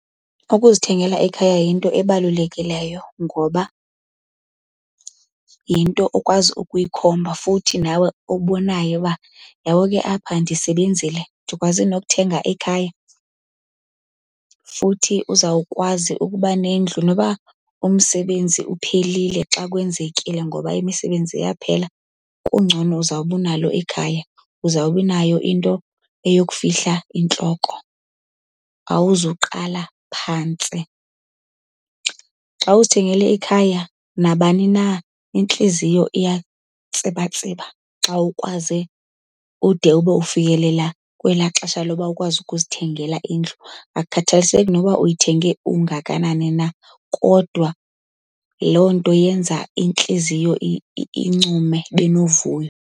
Ukuzithengela ikhaya yinto ebalulekileyo ngoba yinto okwazi ukuyikhomba futhi nawe obonayo uba, uyabo ke apha ndisebenzile ndikwaze nokuthenga ikhaya. Futhi uzawukwazi ukuba nendlu. Noba umsebenzi uphelile xa kwenzekile ngoba imisebenzi iyaphela, kungcono uzawube unalo ikhaya. Uzawube inayo into eyokufihla intloko, awuzuqala phantsi. Xa uzithengele ikhaya nabani na intliziyo iyatsibatsiba xa ukwaze ude ube ufikelela kwelaa xesha loba ukwazi ukuzithengela indlu. Akukhathaliseki noba uyithenge ungakanani na kodwa loo nto yenza intliziyo incume, ibe novuyo.